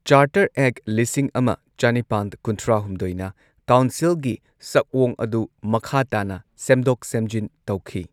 Charter act ꯂꯤꯁꯤꯡ ꯑꯃ ꯆꯅꯤꯄꯥꯟ ꯀꯨꯟꯊ꯭ꯔꯥ ꯍꯨꯝꯗꯣꯏꯅ ꯀꯥꯎꯟꯁꯤꯜꯒꯤ ꯁꯛꯑꯣꯡ ꯑꯗꯨ ꯃꯈꯥ ꯇꯥꯅ ꯁꯦꯝꯗꯣꯛ ꯁꯦꯝꯖꯤꯟ ꯇꯧꯈꯤ꯫